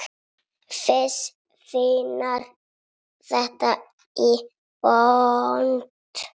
Fis fílar þetta í botn!